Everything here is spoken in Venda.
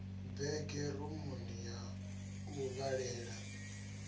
bege rumuni ya u vhalela